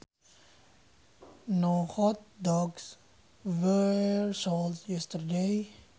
No hot dogs were sold yesterday